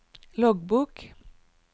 loggbok